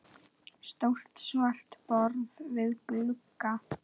Stórt svart borð við glugga.